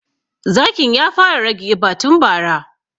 Zakin ya fara rage ƙiba tun bara